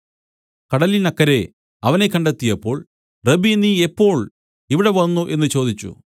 കടലിനക്കരെ അവനെ കണ്ടെത്തിയപ്പോൾ റബ്ബീ നീ എപ്പോൾ ഇവിടെ വന്നു എന്നു ചോദിച്ചു